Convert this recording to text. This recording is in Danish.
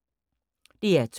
DR2